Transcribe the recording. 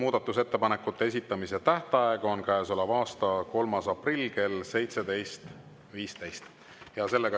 Muudatusettepanekute esitamise tähtaeg on käesoleva aasta 3. aprill kell 17.15.